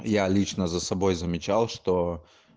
я лично за собой замечал что